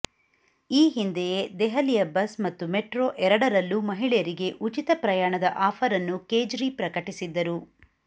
ಈ ಹಿಂದೆಯೇ ದೆಹಲಿಯ ಬಸ್ ಮತ್ತು ಮೆಟ್ರೋ ಎರಡರಲ್ಲೂ ಮಹಿಳೆಯರಿಗೆ ಉಚಿತ ಪ್ರಯಾಣದ ಆಫರ್ ಅನ್ನು ಕೇಜ್ರಿ ಪ್ರಕಟಿಸಿದ್ದರು